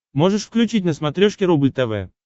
можешь включить на смотрешке рубль тв